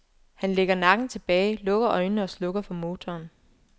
Han lægger nakken tilbage, lukker øjnene og slukker for motoren.